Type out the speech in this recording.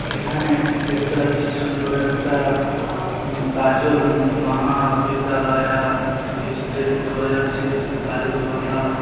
এখানে দেখতে পাচ্ছি সুন্দর একটা্ গাজল উ-ম মাহা বিদ্দালায়া স্টেট হাজার সিক্স গাজল মালদা--